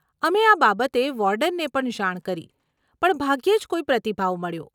અમે આ બાબતે વોર્ડનને પણ જાણ કરી પણ ભાગ્યે જ કોઈ પ્રતિભાવ મળ્યો.